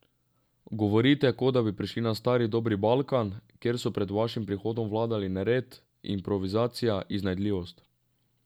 Govorite, kot da bi prišli na stari dobri Balkan, kjer so pred vašim prihodom vladali nered, improvizacija, iznajdljivost ...